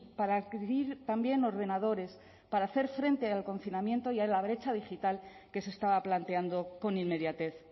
para adquirir también ordenadores para hacer frente el confinamiento y a la brecha digital que se estaba planteando con inmediatez